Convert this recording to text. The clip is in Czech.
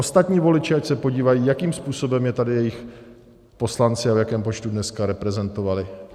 Ostatní voliči ať se podívají, jakým způsobem je tady jejich poslanci a v jakém počtu dnes reprezentovali.